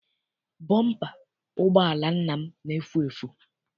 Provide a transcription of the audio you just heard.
Bọmpa ụgbọala nna m na-efu efu.